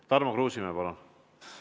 Tarmo Kruusimäe, palun!